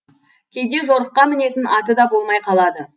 кейде жорыққа мінетін аты да болмай қалады